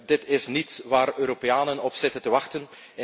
Dit is niet waar de Europeanen op zitten te wachten.